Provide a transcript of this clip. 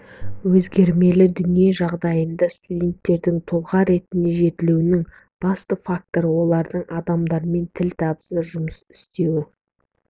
өзгермелі дүние жағдайында студенттердің тұлға ретінде жетілуінің басты факторы оларды адамдармен тіл табыса жұмыс істеуге